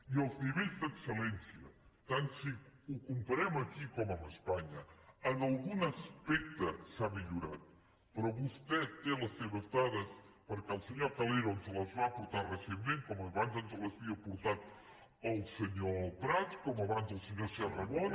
i els nivells d’excel·lència tant si ho comparem aquí com amb espanya en algun aspecte s’ha millorat però vostè té les seves dades perquè el senyor calero ens les va portar recentment com abans ens les havia portades el senyor prats com abans el senyor sarramona